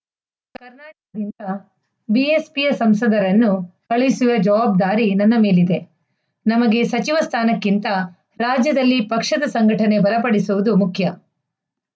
ಬಿಎಸ್‌ಪಿಯ ಸಂಸದರನ್ನು ಕಳುಹಿಸುವ ಜವಾಬ್ದಾರಿ ನನ್ನ ಮೇಲಿದೆ ನಮಗೆ ಸಚಿವ ಸ್ಥಾನಕ್ಕಿಂತ ರಾಜ್ಯದಲ್ಲಿ ಪಕ್ಷದ ಸಂಘಟನೆ ಬಲಪಡಿಸುವುದು ಮುಖ್ಯ